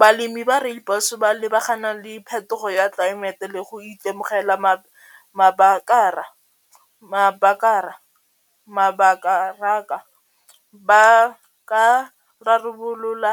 Balemi ba rooibos ba lebagana le phetogo ya tlelaemete le go itemogela ba ka rarabolola